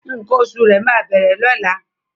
Nkan òṣù̀ rẹ máa bẹ̀rẹ̀ lọla